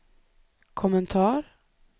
kommentar